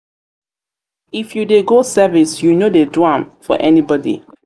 if you dey go service you no dey do am for anybodi.